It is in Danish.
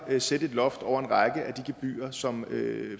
at sætte et loft over en række af de gebyrer som